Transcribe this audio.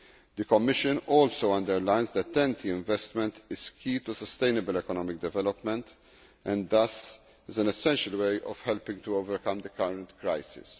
The Commission also underlines that TEN T investment is key to sustainable economic development and thus is an essential way of helping to overcome the current crisis.